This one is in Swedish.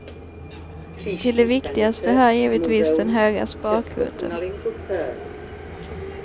Till de viktigaste hör givetvis den höga sparkvoten.